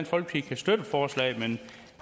folkeparti støtte forslaget men